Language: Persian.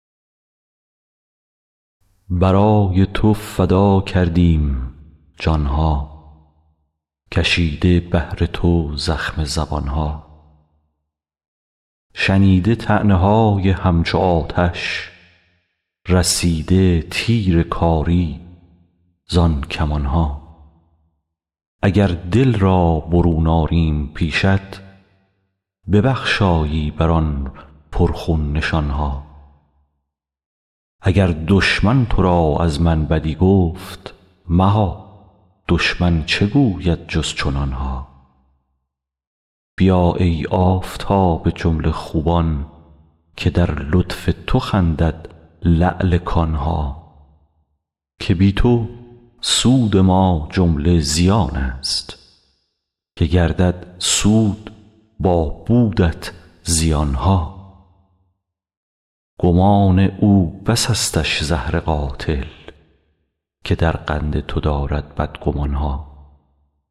برای تو فدا کردیم جان ها کشیده بهر تو زخم زبان ها شنیده طعنه های همچو آتش رسیده تیر کاری زان کمان ها اگر دل را برون آریم پیشت ببخشایی بر آن پرخون نشان ها اگر دشمن تو را از من بدی گفت مها دشمن چه گوید جز چنان ها بیا ای آفتاب جمله خوبان که در لطف تو خندد لعل کان ها که بی تو سود ما جمله زیانست که گردد سود با بودت زیان ها گمان او بسستش زهر قاتل که در قند تو دارد بدگمان ها